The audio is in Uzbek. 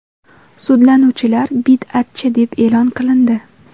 Sudlanuvchilar bid’atchi deb e’lon qilindi.